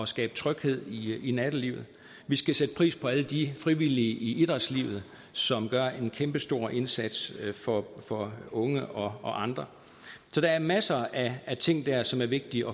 skabe tryghed i i nattelivet vi skal sætte pris på alle de frivillige i idrætslivet som gør en kæmpestor indsats for for unge og og andre så der er masser af ting der som er vigtige